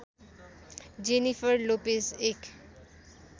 Jennifer Lopez एक